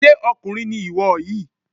Ṣé ọkùnrin ni ìwọ yìí?